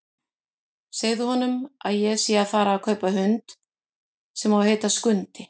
Segðu honum að ég sé að fara að kaupa hund sem á að heita Skundi!